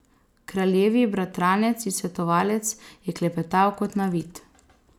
Kraljevi bratranec in svetovalec je klepetal kot navit.